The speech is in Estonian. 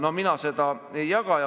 No mina seda ei jaga.